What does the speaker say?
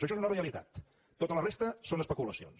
això és una realitat tota la resta són es peculacions